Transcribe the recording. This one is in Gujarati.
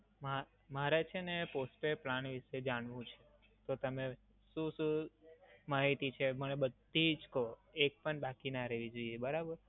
મા~ મારે છે ને postpaid plan વિષે જાણવું છે તો તમે શું શું માહિતી છે, મને બધી જ કહો, એક પણ બાકી ના રેહવી જોઈએ બરાબર?